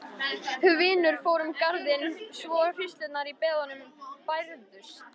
Hvinur fór um garðinn svo hríslurnar í beðunum bærðust.